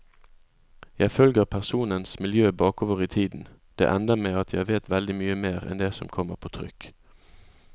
Jeg følger personenes miljø bakover i tiden, det ender med at jeg vet veldig mye mer enn det som kommer på trykk.